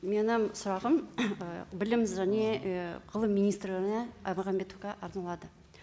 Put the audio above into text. менің сұрағым білім және і ғылым министріне аймағамбетовке арналады